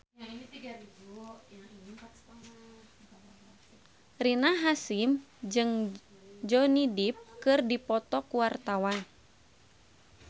Rina Hasyim jeung Johnny Depp keur dipoto ku wartawan